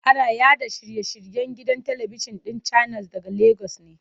Ana yaɗa shiye-shiryen gidan talibijin ɗin Channels daga Legas.